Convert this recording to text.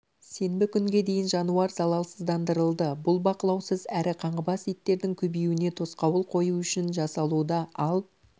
сенбі күнге дейін жануар залалсыздандырылды бұл бақылаусыз әрі қаңғыбас иттердің көбеюіне тосқауыл қою үшін жасалуда ал